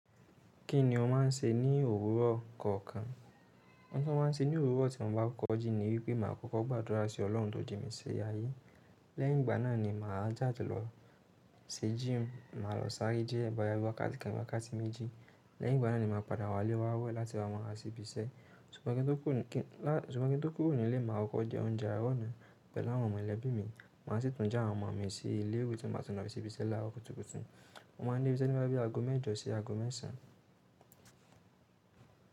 Kí ni o máa ń ṣe ní òwúrọ̀ kọ̀ọ̀kan? Ọ̀uǹ tọ́ màá n ṣe ni owuro ti mo ba kọ́ jí ni wí pé màá kọ́kọ́ gbàdúrà sí ọlọ́hun tí ó jì mí sí ayé. Lẹ́yìn ìgbà náà ni màá jáde lọ sí gym, màá lọ sárẹ́ jẹ́ ẹba yàrá iwà kàtí kẹ̀ẹ̀jì wà kàtí méjì. Lẹ́yìn ìgbà náà ni màá padà wá ilé wa wẹ́ lati màá lo ṣíbíṣẹ́. Sùnmọ́ kí n tó kúrò nílé, màá kọ́ jẹ oúnjẹ àárọ̀ náà pẹ̀lú àwọn ọmọ ìlẹ̀ bí mi. Màá sì tún já àwọn ọmọ mí sí ilé èwù tí màá ti ń rà ṣíbíṣẹ́ lára òkùtùkùtù. Mo máa ń dé ibi iṣẹ́ nígbà tí aago mẹ́jọ̀ sí aago mẹ́sàn-án.